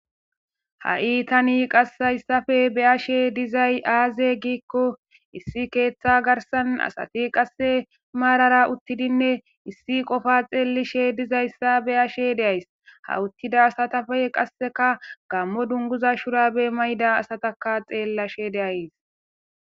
ha7i tani qassayssafe beyashe dizay aaze giikko issi keeththa garsan asati qasse maarara uttidinne issi qofa xeelishe dizayssa beyashe deays ha uttida asatafe qasseka gammo dunguza shurabe mayda asataka xeellashe deayys